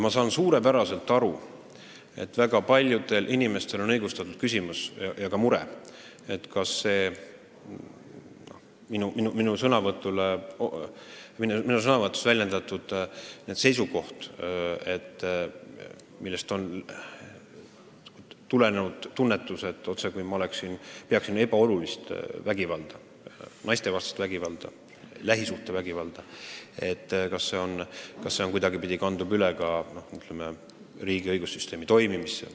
Ma saan suurepäraselt aru, et väga paljudel inimestel on õigustatud küsimus ja ka mure, kas minu avalduses väljendus seisukoht, millest võib järeldada, et ma pean naistevastast vägivalda, lähisuhtevägivalda ebaoluliseks ja kas see suhtumine kandub kuidagipidi üle ka, ütleme, riigi õigussüsteemi toimimisse.